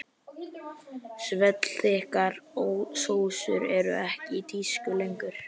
Svellþykkar sósur eru ekki í tísku lengur.